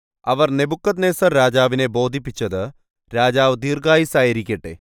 അവർ നെബൂഖദ്നേസർരാജാവിനെ ബോധിപ്പിച്ചത് രാജാവ് ദീർഘായുസ്സായിരിക്കട്ടെ